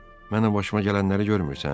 Mənim başıma gələnləri görmürsən?